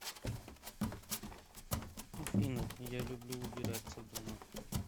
афина я люблю убираться дома